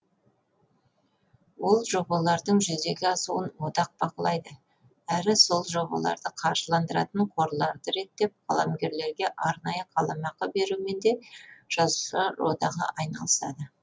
ол жобалардың жүзеге асуын одақ бақылайды әрі сол жобаларды қаржыландыратын қорларды реттеп қаламгерлерге арнайы қаламақы берумен де жазушылар одағы айналысыды